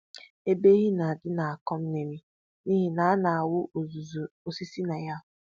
Ebe ehi na-adị na-akọ mmiri n'ihi na a na-awụ uzuzu osisi na ya